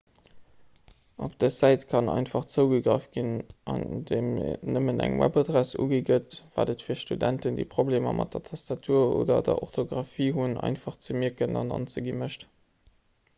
op dës säit kann einfach zougegraff ginn andeem nëmmen eng webadress ugi gëtt wat et fir studenten déi problemer mat der tastatur oder der orthographie hunn einfach ze mierken an anzegi mécht